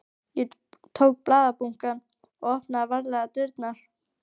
Ég tók blaðabunkann og opnaði varlega dyrnar.